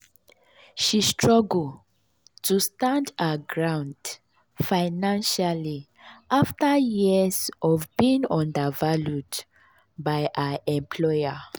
she struggle to stand her ground financially afta years of being undervalued by her employer.